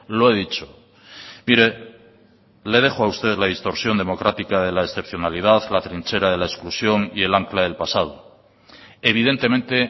lo he dicho mire le dejo a usted la distorsión democrática de la excepcionalidad la trinchera de la exclusión y el ancla del pasado evidentemente